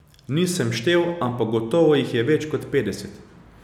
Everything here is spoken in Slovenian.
Nisem štel, ampak gotovo jih je več kot petdeset.